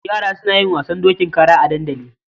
Yara suna yin wasan dokin kara a dandali.